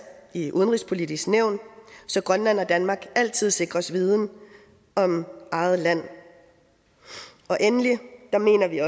i udenrigspolitisk nævn så grønland og danmark altid sikres viden om eget land og endelig mener vi